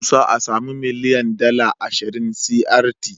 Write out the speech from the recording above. Musa a samu miliyan dala ashiria crty